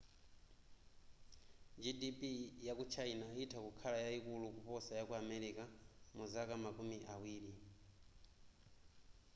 gdp yaku china itha kukhala yayikulu kuposa yaku america muzaka makumi awiri